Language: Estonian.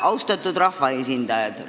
Austatud rahvaesindajad!